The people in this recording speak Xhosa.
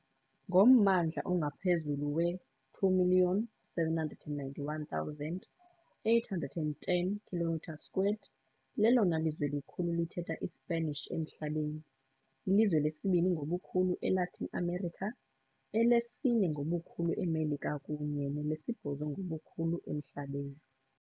Ngommandla ongaphezulu we2 791 810 km², lelona lizwe likhulu lithetha iSpanish emhlabeni, ilizwe lesibini ngobukhulu eLatin America, elesine ngobukhulu eMelika kunye nelesibhozo ngobukhulu emhlabeni.